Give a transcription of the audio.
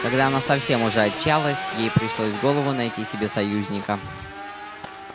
когда она совсем уже отчаялась ей пришло в голову найти себе союзника